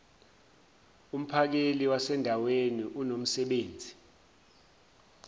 umphakeli wasendaweni unomsebenzi